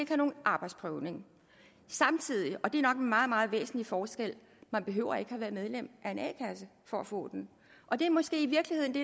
have nogen arbejdsprøvning samtidig og det er nok en meget meget væsentlig forskel man behøver ikke at have været medlem af en a kasse for at få den og det er måske i virkeligheden det